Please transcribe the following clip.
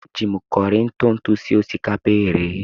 Eji m kọrị ntụ ntụ sie osikapa e ghere eghe.